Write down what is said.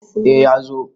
eh ya zo